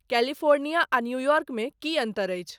California आ New York मे की अंतर अछि?